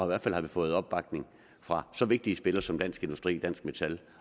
hvert fald har det fået opbakning fra så vigtige spillere som dansk industri dansk metal